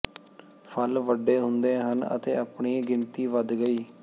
ਫਲ ਵੱਡੇ ਹੁੰਦੇ ਹਨ ਅਤੇ ਆਪਣੇ ਗਿਣਤੀ ਵੱਧ ਗਈ ਹੈ